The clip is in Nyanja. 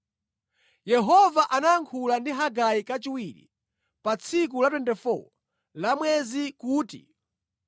Yehova anayankhula ndi Hagai kachiwiri, pa tsiku la 24 la mwezi kuti: